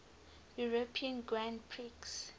european grand prix